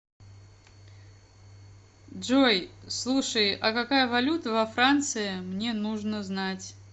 джой слушай а какая валюта во франции мне нужно знать